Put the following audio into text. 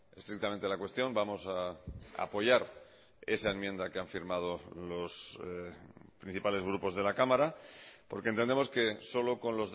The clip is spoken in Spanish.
estrictamente la cuestión vamos a apoyar esa enmienda que han firmado los principales grupos de la cámara porque entendemos que solo con